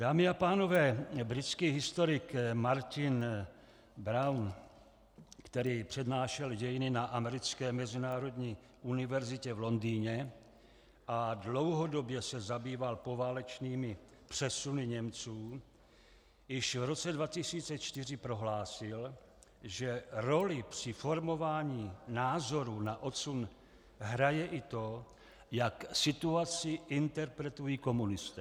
Dámy a pánové, britský historik Martin Brown, který přednášel dějiny na Americké mezinárodní univerzitě v Londýně a dlouhodobě se zabýval poválečnými přesuny Němců, již v roce 2004 prohlásil, že roli při formování názorů na odsun hraje i to, jak situaci interpretují komunisté.